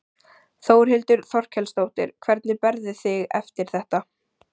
Þórhildur Þorkelsdóttir: Hvernig berðu þig eftir þetta?